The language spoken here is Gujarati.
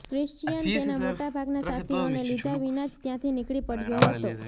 ક્રિશ્ચિયન તેના મોટા ભાગના સાથીઓને લીધા વિના જ ત્યાંથી નીકળી પડ્યો હતો